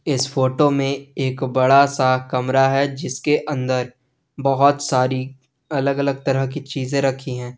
इस फोटो में एक बड़ा सा कमरा है जिसके अंदर बहुत सारी अलग अलग तरह की चीजे रखी हैं।